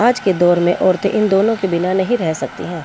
आज के दौर में औरतें इन दोनों के बिना नहीं रह सकती हैं।